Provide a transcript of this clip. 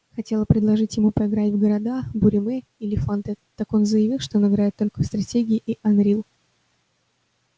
хотела предложить ему поиграть в города буриме или фанты так он заявил что он играет только в стратегии и анрил